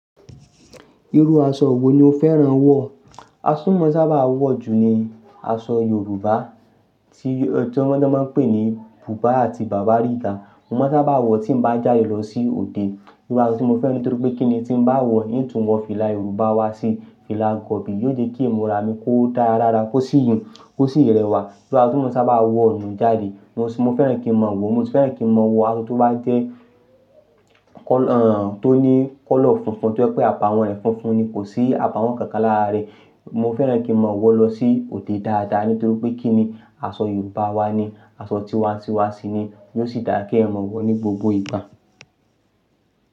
Irú aṣọ wo ni o fẹ́ràn wọ̀? Aṣọ tí mo sábà wọ̀ jù ni aṣọ Yorùbá tí wọ́n máa n pè ní Bùbá àti Bàbárìgbà. Mo máa n sábà wọ̀ tí n bá jáde lọ sí òde. Irú aṣọ tí mo fẹ́ràn nítorí pé kíni tí n bá wọ̀ yí ń tún wọ fìlà Yorùbá wá sí fìlà gọ̀bì, yóò jẹ́ kí ìmúra mi kó dára lára, kó sì yún, kó sì rẹwà. Irú aṣọ tí mo sábà wọ̀ nù jáde, mo fẹ́ràn kí n mọ̀ wọ, mo sì fẹ́ràn kí n mọ̀ wọ aṣọ tó bá jẹ́ kọ́-- èh, tó ní kọ́lọ̀ funfun tó jẹ́ pé àbàwọ́n rẹ̀ funfun ni, kò sí àbàwọ́n kankan lára rẹ̀. Mo fẹ́ràn kí n mọ̀ wọ̀ lọ sí òde dáadáa nítorí pé kíni aṣọ Yorùbá wa ni, aṣọ tí wa ti wá sí ni, yóò sì dára kí ẹyan mọ̀ wọ̀ ní gbogbo ìgbà.